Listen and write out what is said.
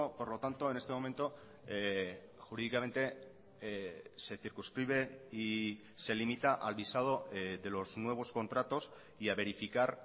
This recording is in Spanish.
por lo tanto en este momento jurídicamente se circunscribe y se limita al visado de los nuevos contratos y a verificar